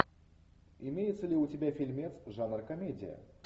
имеется ли у тебя фильмец жанр комедия